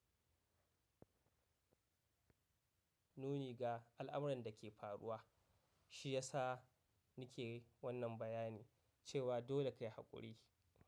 Nuni ga al'amuran da ke faruwa, shi ya sa ni ke wannan bayani cewa dole kai haƙuri.